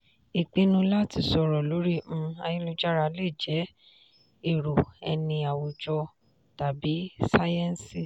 ìpinnu láti sọ̀rọ̀ lórí um ayélujára lè jẹ́ èrò ẹni awùjọ tàbí sáyẹ́ǹsì.